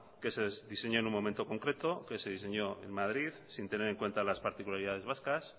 que se diseñó en un momento concreto que se diseñó en madrid sin tener en cuenta las particularidades vascas